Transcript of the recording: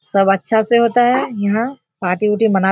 सब अच्छा से होता है यहाँ पार्टी ऊटी मना --